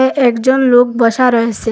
একজন লোক বসা রয়েসে ।